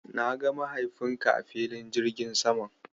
Na ga mahaifinka a filin jirgin saman.